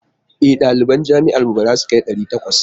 E, ɗaliban jami'ar mu ba za su kai ɗari takwas.